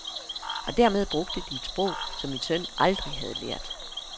Og dermed brugte de et sprog, som min søn aldrig havde lært.